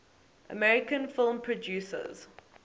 american film producers